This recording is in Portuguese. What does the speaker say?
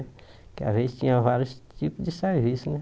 Porque às vezes tinha vários tipos de serviço, né?